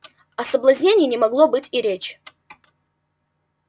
о соблазнении не могло быть и речи